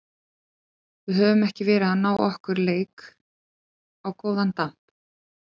Við höfum ekki verið að ná okkar leik á góðan damp.